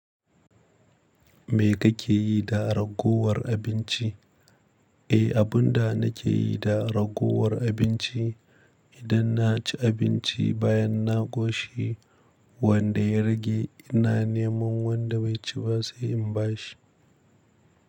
Me kake yi da ragowar abinci? Eh, abunda nake yi da ragowar abinci idan na ci abinci bayan na koshi wanda ya rage ina neman wanda bai ci ba sai in ba shi.